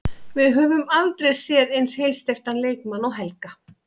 Við höfum aldrei séð eins heilsteyptan leikmann og Helga.